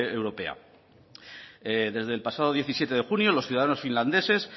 europea desde el pasado diecisiete de junio los ciudadanos finlandeses